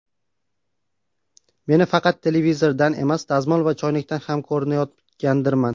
Meni faqat televizordan emas, dazmol va choynakdan ham ko‘rinayotgandirman.